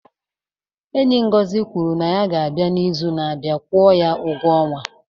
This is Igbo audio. Enyi Ngozi kwuru na ya ga-abịa n'izu na-abịa kwụọ ya ụgwọ ọnwa.